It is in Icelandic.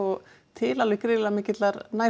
til alveg gríðarlega mikillar